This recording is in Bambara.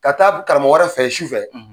Ka taa karamɔgɔ wɛrɛ fɛ ye su fɛ.